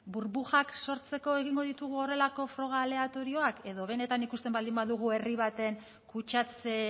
burbujak sortzeko egingo ditugu horrelako froga aleatorioak edo benetan ikusten baldin badugu herri baten kutsatze